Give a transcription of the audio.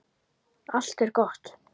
Allt er gott.